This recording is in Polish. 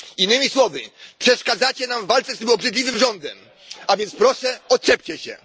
Innymi słowy, przeszkadzacie nam w walce z tym obrzydliwym rządem, a więc proszę odczepcie się.